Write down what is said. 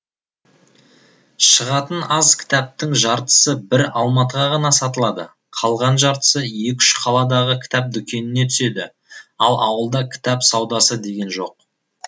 шығатын аз кітаптың жартысы бір алматыға ғана сатылады қалған жартысы екі үш қаладағы кітап дүкеніне түседі ал ауылда кітап саудасы деген жоқ